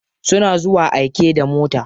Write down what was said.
Suna zuwa aike da mota.